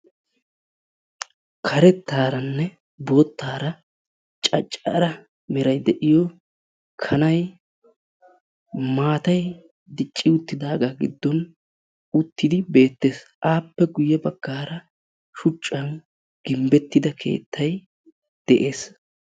Karettaaranne boottaara caccara meray de'iyo kanay maatay dicci uttidaagaa giddon uttidi beettees. Appe guyye baggaara shuchchan gimbbettida keettay de'ees.